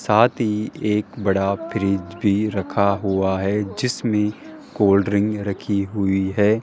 साथ ही एक बड़ा फ्रिज भी रखा हुआ है जिसमें कोल्ड ड्रिंक रखी हुई है।